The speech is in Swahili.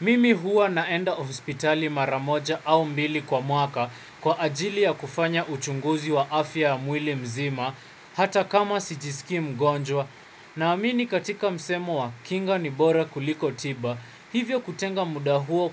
Mimi huwa naenda hospitali maramoja au mbili kwa mwaka kwa ajili ya kufanya uchunguzi wa afya ya mwili mzima hata kama sijisikij mgonjwa naamini katika msemo wa kinga ni bora kuliko tiba. Hivyo kutenga muda huo